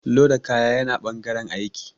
Loda kaya yana ɓangaren aiki